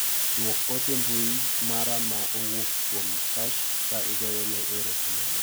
Duok ote mbui mara ma owuok kuom Sashs ka igoyo ne ero kamano.